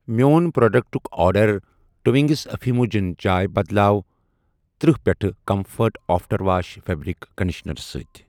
میٛون پروڈکٹُک order Twinings infusion چاے بدلاو تٔرہ پیٹہِ comfort after wash fabric conditioner سۭتۍ۔